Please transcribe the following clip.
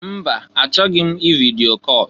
Mba! Achọghị m ividio call.